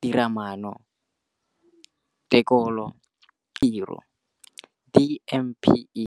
Tiromaano, Tekolo le Tshekatsheko ya Tiro DPME.